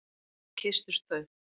Svo kysstust þau.